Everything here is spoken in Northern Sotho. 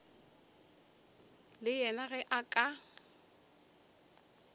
le yena ge a ka